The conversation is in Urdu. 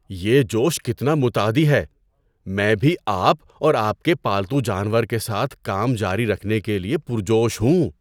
یہ جوش کتنا متعدی ہے! میں بھی آپ اور آپ کے پالتو جانور کے ساتھ کام جاری رکھنے کے لیے پرجوش ہوں۔